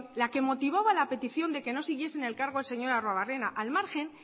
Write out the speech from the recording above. la que motivaba la petición de que no siguiese en el cargo el señor arruebarrena al margen